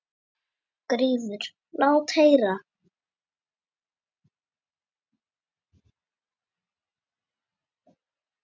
GRÍMUR: Lát heyra!